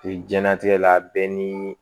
jiyɛnlatigɛ la bɛɛ ni